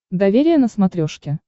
доверие на смотрешке